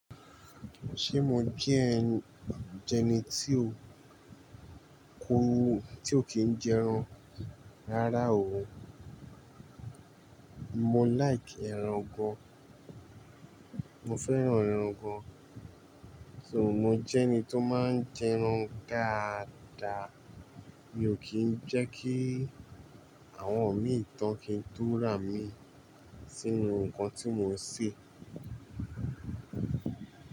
Ṣé mo jẹ́ ẹ́n jẹni tí ó kórú tí ó kìí jẹ́ ẹran rárá o. Mo like ẹran gan, mo fẹ́ràn ẹran gan. So mo jẹ́ ẹni tó máa ń jẹ ẹran dáadáa. Mi ò kí ń jẹ́ kí àwọn omíì tán kí ń tó rà imí sínú ǹkan tí mò ń ṣe.